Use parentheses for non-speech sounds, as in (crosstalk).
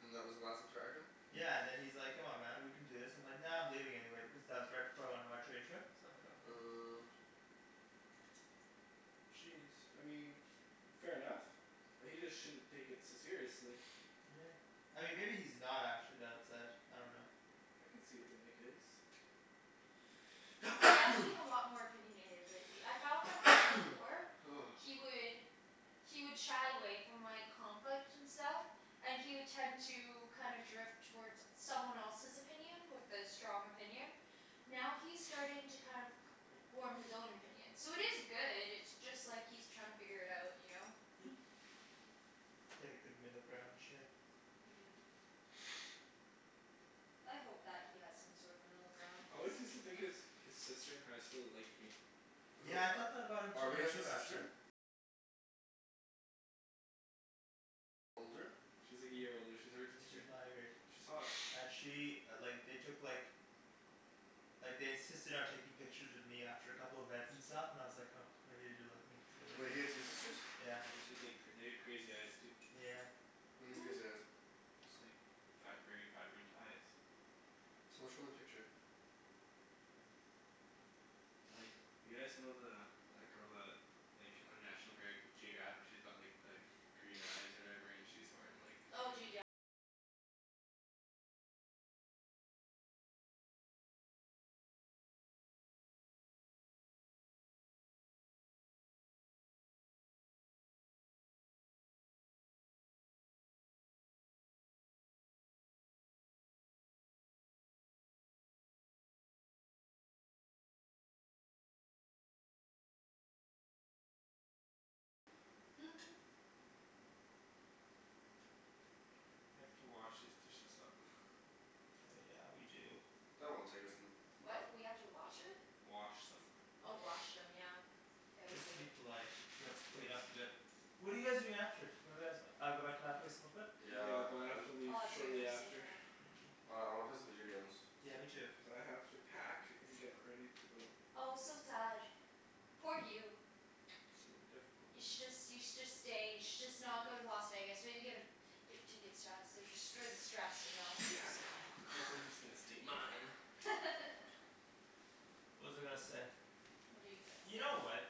And that was the last interaction? Yeah and then he's like "Come on man, we can do this." And I'm like "Nah, I'm leaving anyway," because that was right before I went on my train trip. So I'm like "Oh okay." Uh Jeez, I mean fair enough. He just shouldn't take it so seriously. Yeah. I mean maybe he's not actually that upset, I dunno. I could see it being the case. He does (noise) seem a lot more opinionated lately. I found like way (noise) before he would he would shy away from like, conflict and stuff. And he would tend to kind of drift toward someone else's opinion, with a strong opinion. Now he's starting to kind of form his own opinion. So it is good, it's just like he's trying to figure it out, you know? (laughs) Hit a good middle ground and shit. Yeah. (noise) I hope that he has some sort of middle ground, I cuz always like, used to think yeah his, his sister in high school liked me. Who, Yeah I thought Ar- that about him Harvey t- has a too sister? actually. She's like a year older. She's Arjan's She's grade. my grade. She's hot. And (noise) she like, they took like like they insisted on taking pictures of me after a couple events and stuff, and I was like, oh maybe they do like me Wait, he had two (inaudible) sisters? Yeah. And then she had like, they had crazy eyes too. Yeah. What do you mean crazy (laughs) eyes? They're just like vi- very vibrant eyes. Someone show me a picture. Like, you guys know the, that girl that like, on National Greg- Geographic she's got like the green eyes (noise) or whatever? And she's wearing like (laughs) We have to wash these dishes up. (noise) Oh yeah, we do. That won't take us n- no- What? We have to watch it? Wash them. Oh wash (noise) them, yeah. Yeah, we Just do. to be polite. We have Of to clean course. up a bit. What are you guys doing after? What are guys, uh go back to my place, smoke a bit? Yeah, Yeah, but I have I'm to leave Oh dude, shortly I'm so after. done. Mm. Oh I wanna play some video games. Yeah, me too. Cuz I have to pack and get ready to go. Oh so sad. Poor you. It's gonna be difficult. You should just, you should just stay, you should just not go to Las Vegas, maybe give it give the tickets to us, just for the stress, you know, Yeah, cuz no. (laughs) (inaudible) stay mine. (laughs) What was I gonna say? What are you gonna You know say? what.